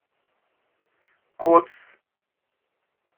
кодс